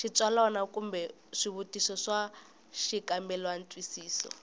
xitsalwana kumbe swivutiso swa xikambelantwisiso